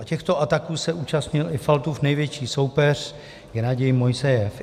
A těchto ataků se účastnil i Faltův největší soupeř Gennadij Mojsejev.